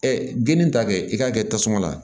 geni ta kɛ i k'a kɛ tasuma la